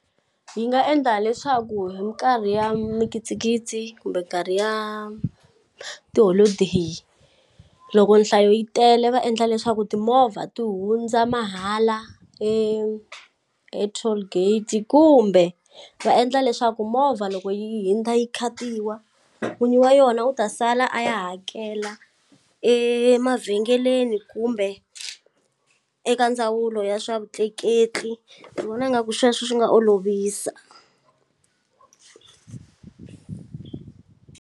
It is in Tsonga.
Yi nga endla leswaku hi minkarhi ya mikitsikitsi kumbe nkarhi ya tiholodeyi loko nhlayo yi tele va endla leswaku timovha ti hundza mahala e-tollgate kumbe va endla leswaku movha loko yi hundza yi khatiwa n'winyi wa yona u ta sala a ya hakela emavhengeleni kumbe eka ndzawulo ya swa vutleketli ni vona ingaku sweswo swi nga olovisa.